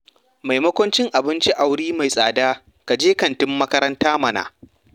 Maimakon cin abinci a wuri mai tsada, ka je kantin makaranta mana.